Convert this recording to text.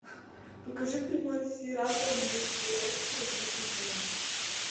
покажи прямой эфир апл между лестером и ливером